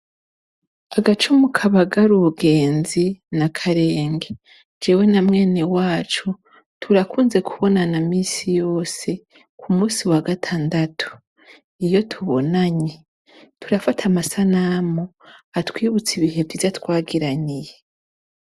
Agacumu kabagara ubugenzi n'akarenge. Jewe na mwenewacu turakunze kubonana misi yose ku musi wa gatandatu. Iyo tubonanye, turafata amasanamu atwibutsa ibihe vyiza twagiraniye